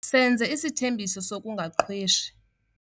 Senze isithembiso sokungaqhweshi.